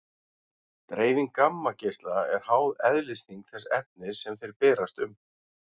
Dreifing gammageisla er háð eðlisþyngd þess efnis sem þeir berast um.